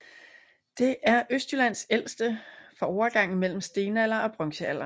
Det er Østjyllands ældste fra overgangen mellem stenalder og bronzealder